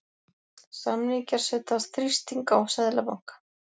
Samningar setja þrýsting á Seðlabanka